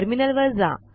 terminal वर जा